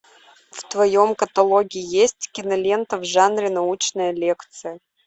в твоем каталоге есть кинолента в жанре научная лекция